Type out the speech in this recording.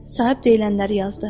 Sahib deyilənləri yazdı.